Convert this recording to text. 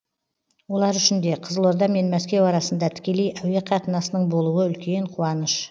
олар үшін де қызылорда мен мәскеу арасында тікелей әуе қатынасының болуы үлкен қуаныш